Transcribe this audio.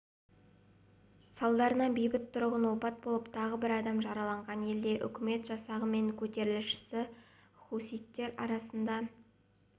салдарынан бейбіт тұрғын опат болып тағы бір адам жараланған елде үкімет жасағы мен көтерілісші хуситтер арасында